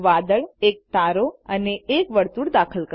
એક વાદળએક તારો અને એક વર્તુળ દાખલ કરો